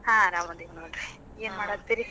ಹಾ ಆರಾಮದೇನಿ ನೋಡ್ರಿ. ಏನ್ ಮಾಡಾತ್ತೀರಿ?